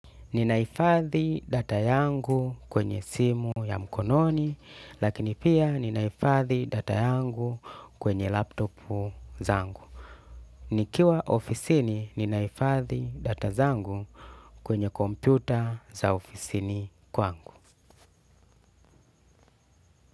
Ninahifadhi data yangu kwenye simu ya mkononi, lakini pia ninahifadhi data yangu kwenye laptopu zangu. Nikiwa ofisini ninahifadhi data zangu kwenye kompyuta za ofisini kwangu.